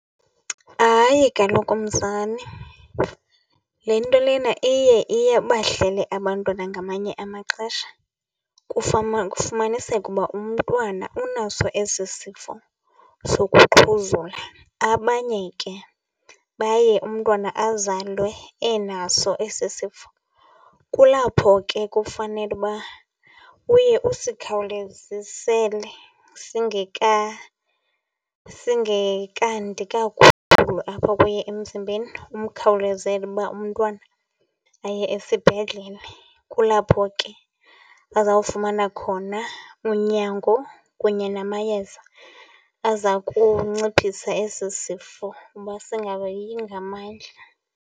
Hayi kaloku mzali, le nto lena iye iye ibahlale abantwana ngamanye amaxesha kufumaniseke uba umntwana unaso esi sifo sokuxhuzula. Abanye ke baye umntwana abazalwe enaso esi sifo. Kulapho ke kufanele uba uye usikhawulezisele singekandi kakhulu apha kuye emzimbeni, umkhawulezele uba umntwana aye esibhedlele. Kulapho ke azawufumana khona unyango kunye namayeza aza kunciphisa esi sifo uba singayi ngamandla.